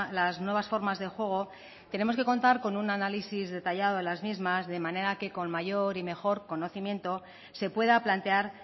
las nuevas formas de juego tenemos que contar con un análisis detallado de las mismas de manera que con mayor y mejor conocimiento se pueda plantear